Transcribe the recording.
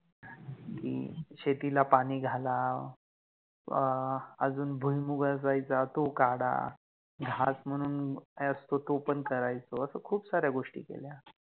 जस कि शेतिला पाणी घाला, अ अ अजुन भुईमूग असायचा तो काढा. हाच मनुन हे असते तो पण करायचो अस खुप सार्या गोष्टी केल्या